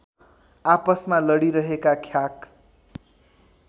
आपसमा लडीरहेका ख्याक